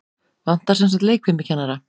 Vantar semsagt leikfimikennara?